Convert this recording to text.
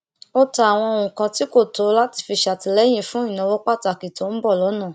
ó ta àwọn nǹkan tí kò lò láti fi ṣàtìlẹyìn fún ìnáwó pàtàkì tó n bọ lọnà